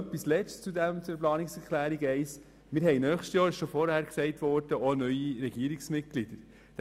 Ein letzter Punkt: Wir werden nächstes Jahr auch neue Regierungsmitglieder wählen.